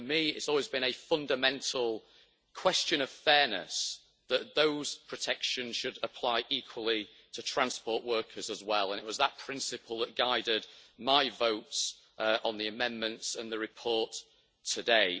For me, it's always been a fundamental question of fairness that those protections should apply equally to transport workers as well, and it was that principle that guided my votes on the amendments and the report today.